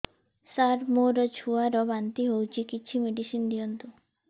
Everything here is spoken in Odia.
ସାର ମୋର ଛୁଆ ର ବାନ୍ତି ହଉଚି କିଛି ମେଡିସିନ ଦିଅନ୍ତୁ